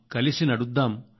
కలసి నడుద్దాం